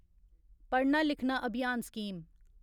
पढ़ना लिखना अभियान स्कीम